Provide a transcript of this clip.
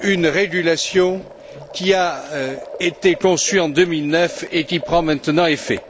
une régulation qui a été conçue en 2009 et qui prend maintenant effet.